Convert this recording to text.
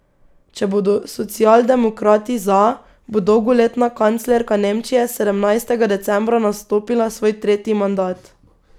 Če bodo socialdemokrati za, bo dolgoletna kanclerka Nemčije sedemnajstega decembra nastopila svoj tretji mandat.